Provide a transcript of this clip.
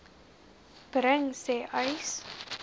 bring sê uys